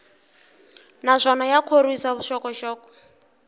naswona ya khorwisa vuxokoxoko